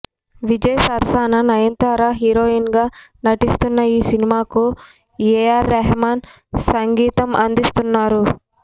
విజయ్ సరసన నయనతార హీరోయిన్గా నటిస్తున్న ఈ సినిమాకు ఏఆర్ రెహమాన్ సంగీతమందిస్తున్నారు